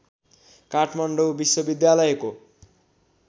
काठमाडौँ विश्वविद्यालयको